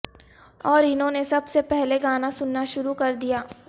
اور انہوں نے سب سے پہلے گانا سننا شروع کر دیا